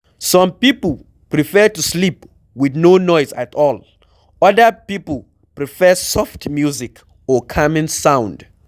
Some pipo prefer to sleep with no noise at all, oda pipo prefer soft music or calming sound